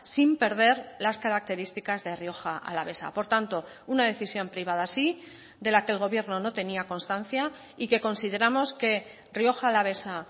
sin perder las características de rioja alavesa por tanto una decisión privada sí de la que el gobierno no tenía constancia y que consideramos que rioja alavesa